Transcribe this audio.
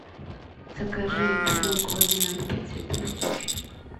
закажи бутылку воды ноль пять святой источник